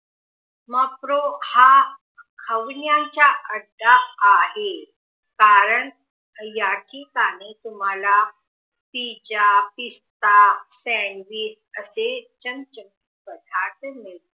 मग हा हवनीयनचा अड्डा आहे कारण याठिकाणी तुम्हाला पिझ्झा पिस्ता सॅन्डविच असे चमचमीत पदार्थ मिळतात